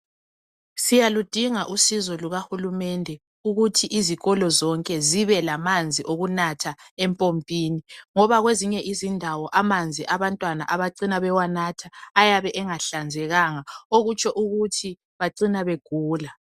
Siyaludinga usizo luka hulumende ukuthi izikolo zonke zibelamanzi okunatha empompini. Ngoba kwezinye izindawo amanzi abantwana abacina bewanatha ayabe angahlanzekanga. Okutsho ukuthi bacina begula.